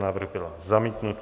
Návrh byl zamítnut.